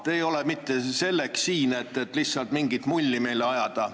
Te ei ole siin mitte selleks, et lihtsalt meile mingit mulli ajada.